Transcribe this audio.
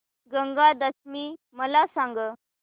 गंगा दशमी मला सांग